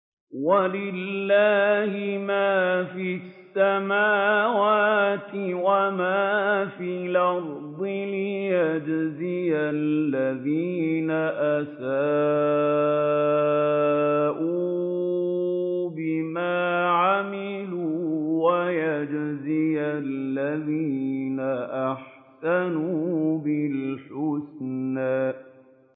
وَلِلَّهِ مَا فِي السَّمَاوَاتِ وَمَا فِي الْأَرْضِ لِيَجْزِيَ الَّذِينَ أَسَاءُوا بِمَا عَمِلُوا وَيَجْزِيَ الَّذِينَ أَحْسَنُوا بِالْحُسْنَى